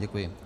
Děkuji.